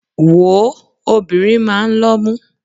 Wòó, obìnrin máa ń lọ́mú.